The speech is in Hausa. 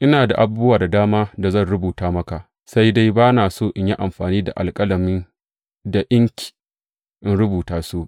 Ina da abubuwa da dama da zan rubuta maka, sai dai ba na so in yi amfani da alƙalami da inki in rubuta su.